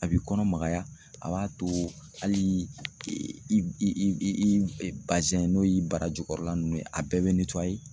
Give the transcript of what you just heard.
A b'i kɔnɔ magaya a b'a to hali i n'o y'i barajukɔrɔla nunnu ye a bɛɛ bɛ